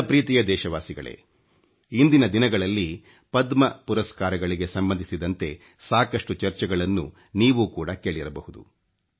ನನ್ನ ಪ್ರೀತಿಯ ದೇಶವಾಸಿಗಳೇ ಇಂದಿನ ದಿನಗಳಲ್ಲಿ ಪದ್ಮ ಪುರಸ್ಕಾರಗಳಿಗೆ ಸಂಬಂಧಿಸಿದಂತೆ ಸಾಕಷ್ಟು ಚರ್ಚೆಗಳನ್ನು ನೀವೂ ಕೊಡ ಕೇಳಿರಬಹುದು